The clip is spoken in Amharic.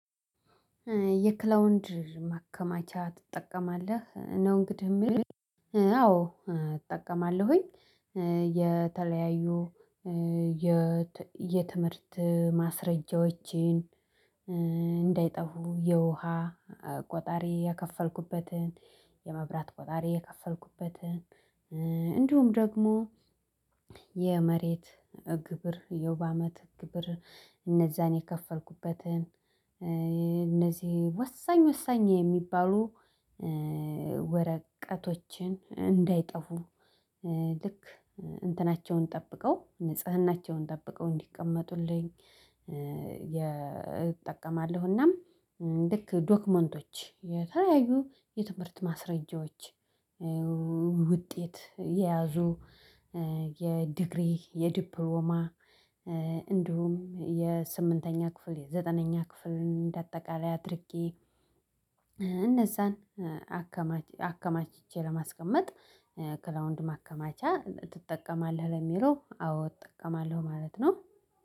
የክላውንድ ማከማቻ ትጠቀማለህ? ነው እንግዲህ የሚል አዎ እጠቀማለሁኝ የተለያዩ የትምህርት ማስረጃዎችን እንዳይጠፉ የውሃ ቆጣሪ የከፈልኩበትን የመብራት ቆጣሪ የከፈልኩበትን እንዲሁም ደግሞ የመሬት ግብር የሩብ አመት ግብር እነዛን የከፈልኩበትን እነዚህ ወሳኝ ወሳኝ የሚባሉ ወረቀቶችን እንዳይጠፉ ልክ እንትናቸውን ጠብቀው ንጽህናቸውን ጠብቀው እንዲቀመጡልኝ የ እጠቀማለሁና ልክ ዶክመንቶች የተለያዩ የትምህርት ማስረጃዎች ውጤት የያዙ የዲግሪ የዲፕሎማ እንዲሁም የስምንተኛ ክፍል የዘጠነኛ ክፍልን እንደአጠቃላይ አድርጌ እነዛን አከማች አከማችቼ ለማስቀመጥ ክላውንድ ማከማቻ ትጠቀማለህ? ለሚለው አዎ እጠቀማለሁ ማለት ነው